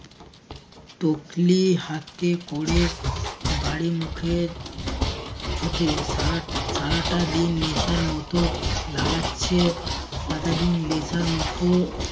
তকলি হাতে ক'রে বাড়ি মুখে ছুটে সারা সারাটা দিন নেশার মতো লাগাচ্ছে সারাটা দিন নেশার মতো